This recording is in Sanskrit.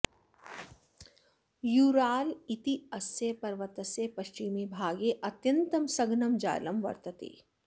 यूराल् इत्यस्य पर्वतस्य पश्चिमे भागे अत्यन्तं सघनं जालं वर्तते